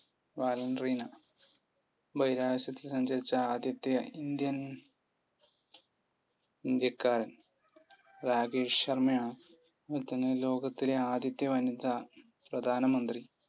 Valentina. ബഹിരാകാശത്ത് സഞ്ചരിച്ച ആദ്യത്തെ ഇന്ത്യൻ ഇന്ത്യക്കാരൻ? രാകേഷ് ശർമയാണ് അതുപോലെത്തന്നെ ലോകത്തിലെ ആദ്യത്തെ വനിത പ്രധാനമന്ത്രി?